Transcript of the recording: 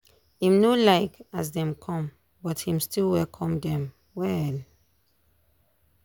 im no like as dem come but him still welcome dem well.